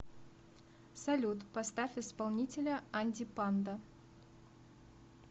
салют поставь исполнителя анди панда